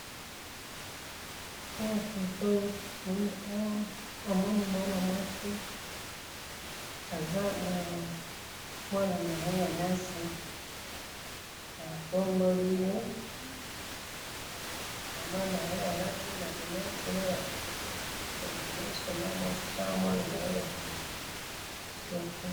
awa photo tomoni awa omoni mwana mwasi azanamwana naye yamwasi atomboliye mamanaye alati ma linette nabakangiye suki yabameshe namwana nayebakangiye suki